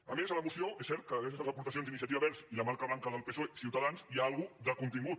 a més a la moció és cert que gràcies a les aportacions d’iniciativa verds i la marca blanca del psoe ciutadans hi ha una mica de contingut